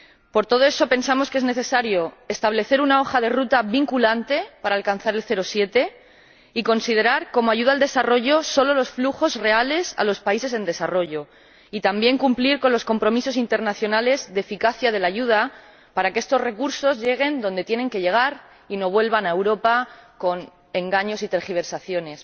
Por todo eso, pensamos que es necesario establecer una hoja de ruta vinculante para alcanzar el 0,7 y considerar como ayuda al desarrollo solo los flujos reales a los países en desarrollo, así como cumplir con los compromisos internacionales de eficacia de la ayuda, para que estos recursos lleguen adonde tienen que llegar y no vuelvan a Europa con engaños y tergiversaciones.